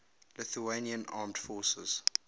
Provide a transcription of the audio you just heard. lithuanian armed forces